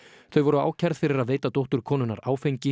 þau voru ákærð fyrir að veita dóttur konunnar áfengi